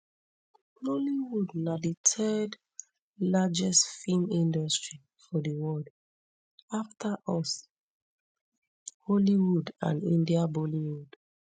nollywood na di third largest film industry for di world afta us hollywood and india bollywood